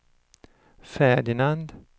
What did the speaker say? Ferdinand